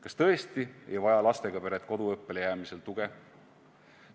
Kas tõesti ei vaja lastega pered koduõppele jäämisel tuge?